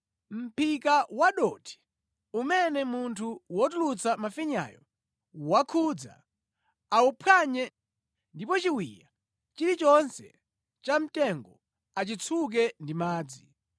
“ ‘Mʼphika wadothi umene munthu wotulutsa mafinyayo wakhudza awuphwanye, ndipo chiwiya chilichonse chamtengo achitsuke ndi madzi.